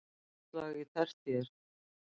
Landslag á tertíer